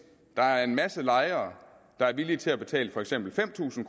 der er en masse lejere der er villige til at betale for eksempel fem tusind